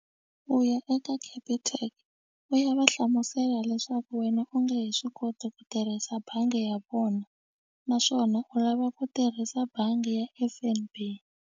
U ya eka capitec u ya va hlamusela leswaku wena u nge he swi koti ku tirhisa bangi ya vona naswona u lava ku tirhisa bangi ya F_N_B.